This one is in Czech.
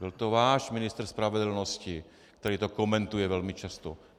Byl to váš ministr spravedlnosti, který to komentuje velmi často.